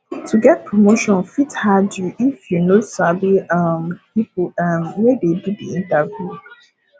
to get promotion fit hard you if you no sabi um people um wey dey do the interview